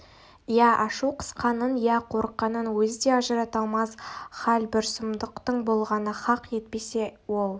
иә ашу қысқанын иә қорыққанын өзі де ажырата алмас хал бір сұмдықтың болғаны хақ әйтпесе ол